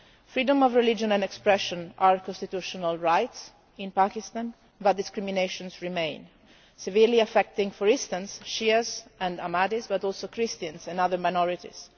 Freedom of religion and expression are constitutional rights in Pakistan, but discrimination remains, severely affecting, for instance, Shias and Ahmadis, but also Christians and other minorities.